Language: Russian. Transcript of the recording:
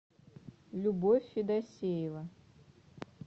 любовь федосеева